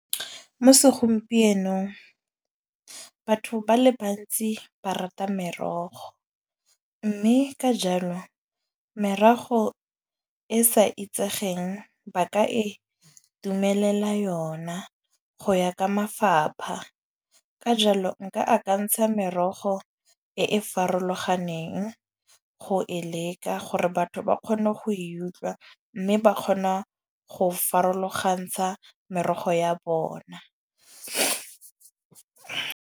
Mo segompienong batho ba le bantsi ba rata merogo. Mme ka jalo merogo e sa itsegeng, ba ka e dumelela yona go ya ka mafapha. Ka jalo nka akantsha merogo e e farologaneng go e leka gore batho ba kgone go e utlwa. Mme ba kgona go farologantsha merogo ya bona.